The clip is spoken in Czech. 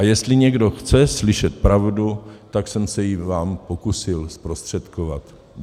A jestli někdo chce slyšet pravdu, tak jsem se ji vám pokusil zprostředkovat.